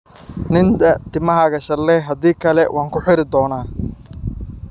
Ninda, timahaaga shanley, haddii kale waan ku xiiri doonaa.